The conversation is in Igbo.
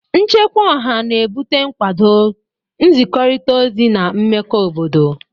Nchekwa Ọha na-ebute nkwado, nzikọrịta ozi, na mmekọ obodo.